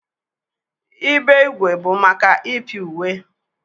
Ibe ígwè bụ maka ịpị uwe.